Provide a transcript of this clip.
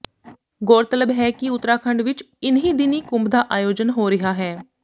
ਗੌਰਤਲਬ ਹੈ ਕਿ ਉਤਰਾਖੰਡ ਵਿੱਚ ਇਨ੍ਹੀ ਦਿਨੀਂ ਕੁੰਭ ਦਾ ਆਯੋਜਨ ਹੋ ਰਿਹਾ ਹੈ